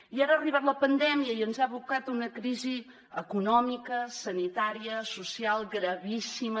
i ara ha arribat la pandèmia i ens ha abocat a una crisi econòmica sanitària social gravíssima